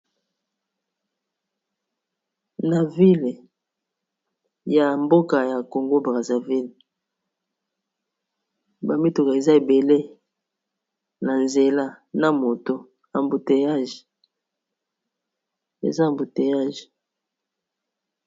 Mboka ya congo brazzaville bamituka eza ebele na nzela na ba moto ambouteillage.